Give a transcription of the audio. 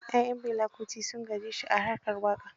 Ya'yan Fela Kuti sun gaje shi a harkar waƙa.